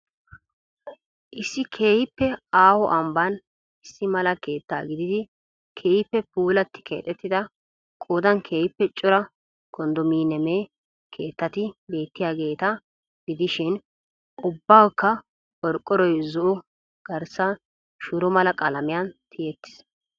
Issi keehiippe aaho ambbaan issi mala keettaa gididi keehiippe pulattidi keexxettida qoodan keehiippe cora kondominiyeeme keettati beettiyaageeta gidishiin ubbaukka qorqoroy zo'o garssay shuro mala qalamiyan tiyetiis.